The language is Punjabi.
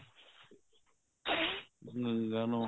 ਗੰਗਾ ਨਹਾਉਣਾ